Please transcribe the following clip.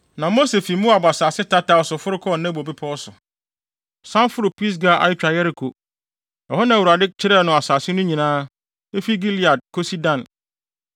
Na Mose fi Moab asase tataw so foro kɔɔ Nebo Bepɔw so, san foroo Pisga a etwa Yeriko. Ɛhɔ na Awurade kyerɛɛ no asase no nyinaa, efi Gilead kosi Dan;